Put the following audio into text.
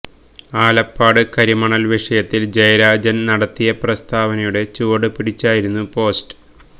ആലപ്പാട് കരിമണല് വിഷയത്തില് ജയരാജന് നടത്തിയ പ്രസ്താവനയുടെ ചുവട് പിടിച്ചായിരുന്നു പോസ്റ്റ്